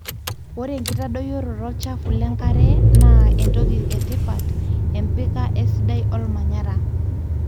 ore enkitadoyioroto olchafu lengare na entoki etipat empika esidai olmanyara.